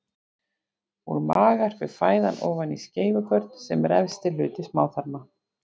Úr maga fer fæðan ofan í skeifugörn sem er efsti hluti smáþarma.